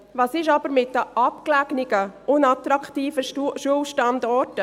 Was ist aber mit den abgelegenen, unattraktiven Schulstandorten?